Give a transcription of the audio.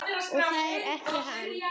Og þær þekki hann.